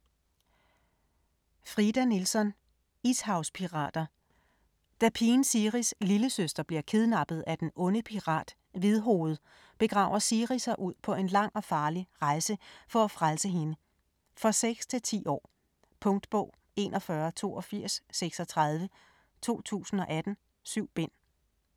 Nilsson, Frida: Ishavspirater Da pigen Siris lillesøster bliver kidnappet af den onde pirat "Hvidhoved", begiver Siri sig ud på en lang og farlig rejse for at frelse hende. For 6-10 år. Punktbog 418236 2018. 7 bind.